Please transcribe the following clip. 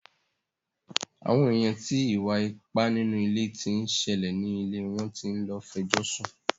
Àwọn èèyàn ti ìwà ipá nínú ilé tí ń ṣẹlẹ̀ ni ilẹ̀ wọn tí ń lọ fẹjọ́ sùn.